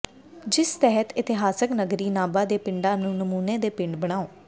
ਜਿਸ ਤਹਿਤ ਇਤਿਹਾਸਕ ਨਗਰੀ ਨਾਭਾ ਦੇ ਪਿੰਡਾਂ ਨੂੰ ਨਮੂਨੇ ਦੇ ਪਿੰਡ ਬਣਾੳ